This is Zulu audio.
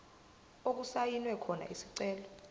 okusayinwe khona isicelo